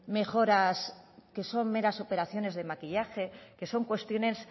mejoras que son meras operaciones de maquillaje que son cuestiones